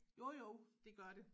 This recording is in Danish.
Jo jo det gør det